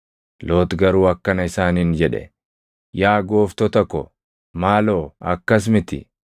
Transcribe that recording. Loox garuu akkana isaaniin jedhe; “Yaa gooftota ko, maaloo akkas miti!